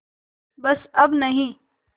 बस अब नहीं